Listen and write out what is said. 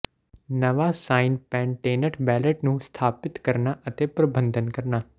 ਨਵਾਂ ਸਾਈਂਪੈਂਟੇਨਟ ਬੈੱਲਟ ਨੂੰ ਸਥਾਪਿਤ ਕਰਨਾ ਅਤੇ ਪ੍ਰਬੰਧਨ ਕਰਨਾ